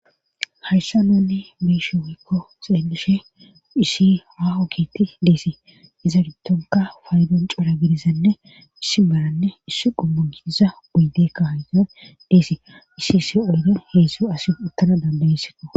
hayssa nunni beishe woykko xeelishe issi hahokiti deesi iza gidonka faydon cora gidizanne issi malanne iss qomun kiiza oyde kando deesi issi isi oydan heezdu asi uttana dandayeseko